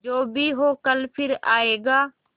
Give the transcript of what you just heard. जो भी हो कल फिर आएगा